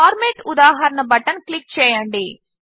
format ఉదాహరణ button click చేయండి